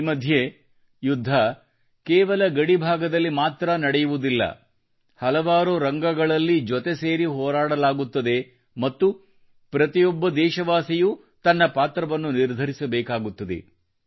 ಈ ಮಧ್ಯೆ ಯುದ್ಧ ಕೇವಲ ಗಡಿ ಭಾಗದಲ್ಲಿ ಮಾತ್ರನಡೆಯುವುದಿಲ್ಲ ಹಲವಾರು ರಂಗಗಳಲ್ಲೂ ಜೊತೆ ಸೇರಿ ಹೋರಾಡಲಾಗುತ್ತದೆ ಮತ್ತು ಪ್ರತಿಯೊಬ್ಬ ದೇಶವಾಸಿಯೂ ತನ್ನ ಪಾತ್ರವನ್ನು ನಿರ್ಧರಿಸಬೇಕಾಗುತ್ತದೆ